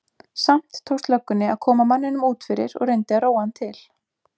Samt tókst löggunni að koma manninum út fyrir og reyndi að róa hann til.